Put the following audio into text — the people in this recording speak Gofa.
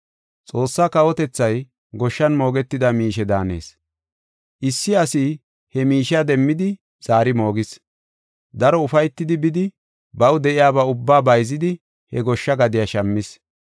“Xoossaa kawotethay goshshan moogetida miishe daanees. Issi asi he miishiya demmidi zaari moogis. Daro ufaytidi bidi baw de7iyaba ubbaa bayzidi he goshsha gadiya shammis.